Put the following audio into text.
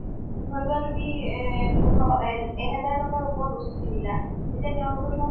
ধৰা লোৱা তুমি এ পোন্ধৰ এ এহাজাৰ টকাৰ ওপৰত বস্তু কিনিলা এতিয়া তেওঁলোকে তোমাক